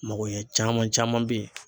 Mago ɲɛ caman caman be ye.